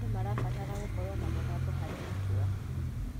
Andũ marabatara gũkorwo na mũgambo harĩ matua.